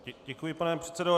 Děkuji, pane předsedo.